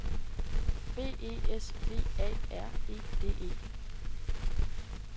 B E S V A R E D E